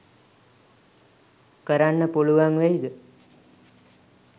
කරන්න පුළුවන් වෙයිද?